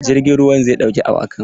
Jirgin ruwan zai ɗauki awakan.